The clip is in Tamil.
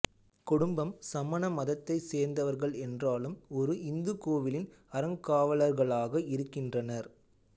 குடும்பம் சமண மதத்தைச் சேர்ந்தவர்கள் என்றாலும் ஒரு இந்து கோவிலின் அறங்காவலர்களாக இருக்கின்றனர்